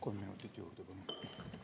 Kolm minutit juurde, palun!